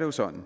jo sådan